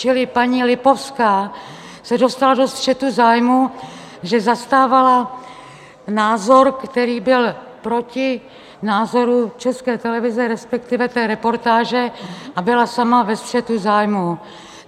Čili paní Lipovská se dostala do střetu zájmů, že zastávala názor, který byl proti názoru České televize, respektive té reportáže, a byla sama ve střetu zájmů.